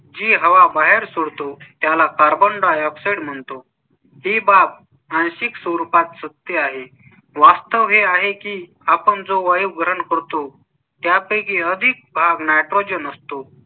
जी हवा बाहेर सोडतो. त्याला carbon dioxide म्हणतो ही बाब आणि सिक्स रुपात सत्य आहे. वास्तव हे आहे की आपण जो वैभव रन करतो त्या पैकी अधिक nitrogen असतो